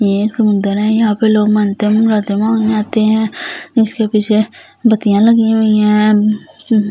ये एक समुंदर है यहां पे लोग मंत मुरादे मांगने आते है जिसके पीछे बतियां लगी हुई है ऐं म --